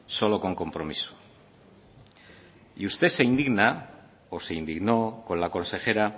solo con compromiso usted se indigna o se indignó con la consejera